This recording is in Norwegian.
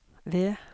ved